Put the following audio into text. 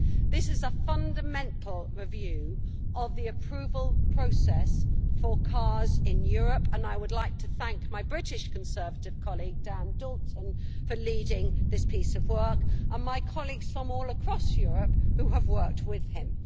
This is a fundamental review of the approval process for cars in Europe and I would like to thank my British Conservative colleague Dan Dalton for leading this piece of work and my colleagues from all across Europe who have worked with him.